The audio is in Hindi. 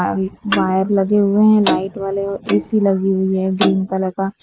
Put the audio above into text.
अम्म वायर लगे हुए हैं लाइट वाले और ए_सी लगी हुई है ग्रीन कलर का।